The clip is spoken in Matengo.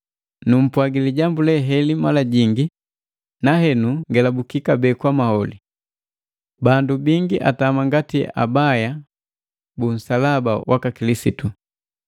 Numpwagi lijambu le heli mala jingi na henu ngelabuki kabee kwa maholi. Bandu bingi atama ngati abaya bu nsalaba waka Kilisitu.